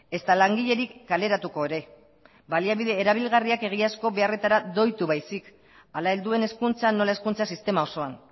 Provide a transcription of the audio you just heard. ezta langilerik kaleratuko ere baliabide erabilgarriak egiazko beharretara doitu baizik hala helduen hezkuntzan nola hezkuntza sistema osoan